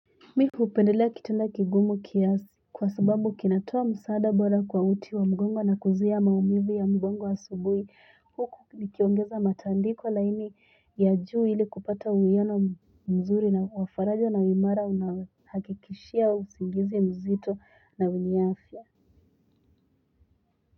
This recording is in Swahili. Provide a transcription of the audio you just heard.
Mimi hupendelea kitanda kigumu kiasi kwa sababu kinatoa msaada bora kwa uti wa mgongo na kuzuia maumivu ya mgongo asubuhi. Huku nikiongeza matandiko laini ya juu ili kupata uiyano mzuri na wafaraja na wa imara unaohakikishia usingizi mzito na wenye afya.